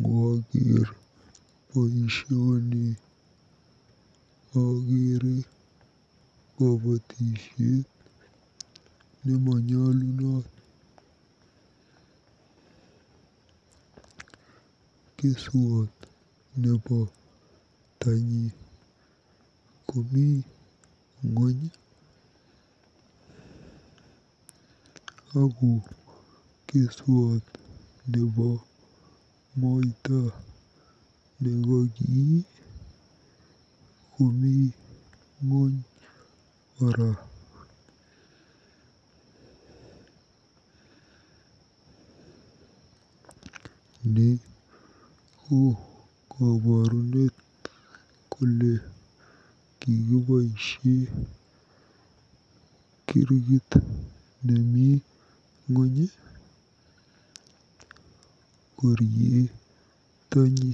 Ngooker boisioni akeere kobotisiet nemonyolunot. Keswot nebo tanyi komi ng'ony ako keswot nebo moita nekokii komi ng'ony kora. Ni ko koborunet kole kikiboisie kirkit nemi ng'ony korie tany.